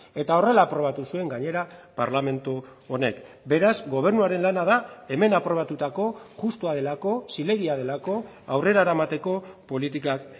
eta horrela aprobatu zuen gainera parlamentu honek beraz gobernuaren lana da hemen aprobatutako justua delako zilegia delako aurrera eramateko politikak